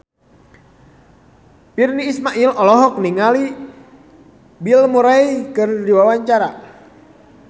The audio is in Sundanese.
Virnie Ismail olohok ningali Bill Murray keur diwawancara